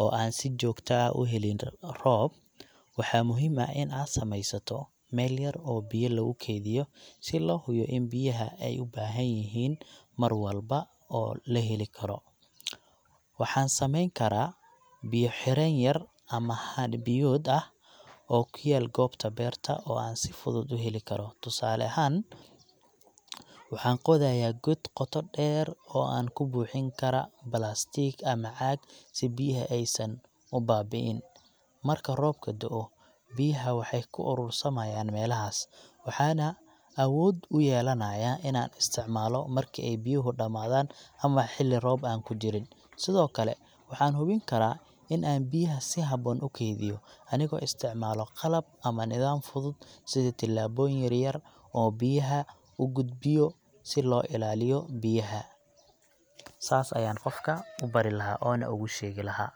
oo aan si joogta ah u helin roob, waxaa muhiim ah in aan sameysato meel yar oo biyo lagu kaydiyo si loo hubiyo in biyaha ay u baahanyihiin mar walba oo la heli karo. Waxaan sameyn karaa biyo xireen yar ama haan biyood ah oo ku yaal goobta beerta oo aan si fudud u heli karo. Tusaale ahaan, waxaan qodayaa god qoto dheer, oo aan ku buuxin kara balaastiig ama caag, si biyaha aysan u baabi’n. Marka roobka da'o, biyaha waxay ku urursanayaan meelahaas, waxaana awood u yelanayaa inaan isticmaalo marki ay biyuhu dhamaadaan ama xilli roob ah aan ku jirin. Sidoo kale, waxaan hubin karaa in aan biyaha si habboon u keydiyo, anigoo isticmaalo qalab ama nidaam fudud sida tuubbooyin yar-yar oo biyaha u gudbiyo si loo ilaaliyo biyaha saas ayaan qofka u bari lahaa ama ugu sheegi lahaa.